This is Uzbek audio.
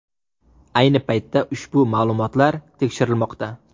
Ayni paytda ushbu ma’lumotlar tekshirilmoqda.